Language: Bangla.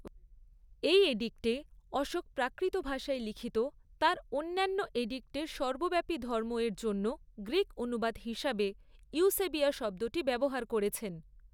এই এডিক্টে, অশোক প্রাকৃত ভাষায় লিখিত তাঁর অন্যান্য এডিক্টের সর্বব্যাপী 'ধর্ম' এর জন্য গ্রীক অনুবাদ হিসাবে ইউসেবিয়া শব্দটি ব্যবহার করেছেন।